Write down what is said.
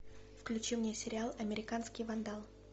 включи мне сериал американский вандал